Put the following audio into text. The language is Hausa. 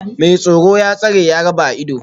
Mai tsoro, ya tsare, ya raba a ido